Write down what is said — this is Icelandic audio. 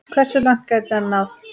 Hversu langt gæti hann náð?